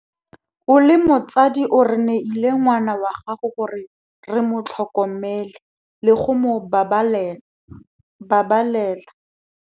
O le motsadi o re neile ngwana wa gago gore re mo tlhokomele le go mo babalena.